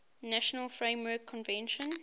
nations framework convention